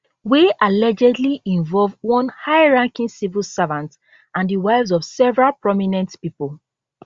wey allegedly involve one highranking civil servant and di wives of several prominent pipo